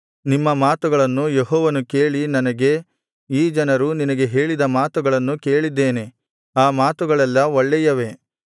ನಿಮ್ಮ ಮಾತುಗಳನ್ನು ಯೆಹೋವನು ಕೇಳಿ ನನಗೆ ಈ ಜನರು ನಿನಗೆ ಹೇಳಿದ ಮಾತುಗಳನ್ನು ಕೇಳಿದ್ದೇನೆ ಆ ಮಾತುಗಳೆಲ್ಲಾ ಒಳ್ಳೆಯವೇ